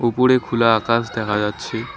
উপরে খুলা আকাশ দেখা যাচ্ছে।